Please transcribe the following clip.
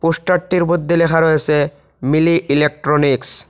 পোস্টারটির মধ্যে লেখা রয়েসে মিলি ইলেকট্রনিক্স ।